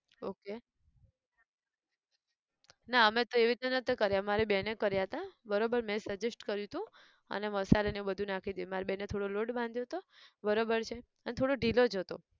okay ના અમે તો એવી રીતે નતા કર્યા મારી બેને કર્યા હતા બરોબર મેં suggest કર્યું હતું અને મસાલો ને એ બધું નાખ્યું હતું મારી બેને થોડો લોટ બાંધ્યો હતો બરોબર છે અને થોડો ઢીલો જ હતો.